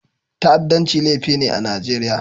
Ta'addanci laifi ne a Najeriya.